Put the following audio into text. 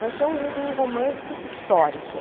Vai ser um um romance histórico.